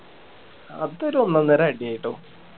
അത് ഒരു ഒന്നൊന്നര അടി ആയിട്ടോ